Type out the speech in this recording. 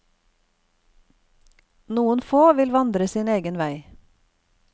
Noen få vil vandre sin egen vei.